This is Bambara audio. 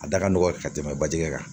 A da ka nɔgɔn ka tɛmɛ baji kɛ kan